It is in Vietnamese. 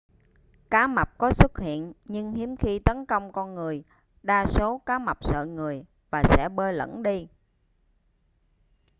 cá mập có xuất hiện nhưng hiếm khi tấn công con người đa số cá mập sợ người và sẽ bơi lẩn đi